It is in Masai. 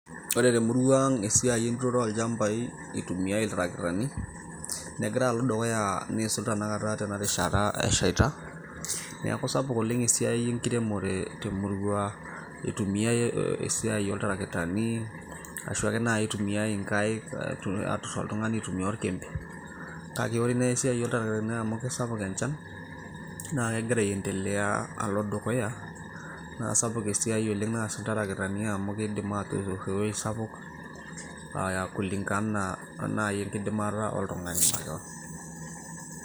Ore temurua ang esiai enturoto olchambai itumiay iltarakitani negira alo dukuya niisul tenakata tena rishata eshaita neeku sapuk oleng esiai enkiremore temurua itumiai esiai oltarakitani ashu ake naaji itumiae inkaik aturr iltung'ani aitumia orkembe kake ore naaji esiai oltarakitani amu kisapuk enchan naa kegira aendelea alo dukuya naa sapuk esiai oleng naasa iltarakitani amu kidim aatuturr ewueji sapuk aaya kulingana o naaji enkidimata oltung'ani makewon.